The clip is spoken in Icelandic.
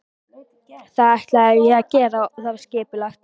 Það ætlaði ég að gera og það var skipulagt.